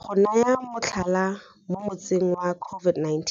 Go naya motlhala, mo motsing wa COVID-19